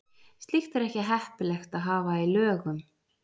Slíkt er ekki heppilegt að hafa í lögum.